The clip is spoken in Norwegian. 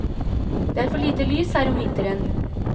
Det er for lite lys her om vinteren.